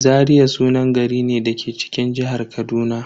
Zaria sunan gari ne da ke cikin jihar Kaduna.